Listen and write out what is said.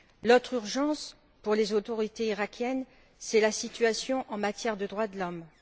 L'autre urgence, pour les autorités iraquiennes, c'est la situation en matière de droits de l'homme.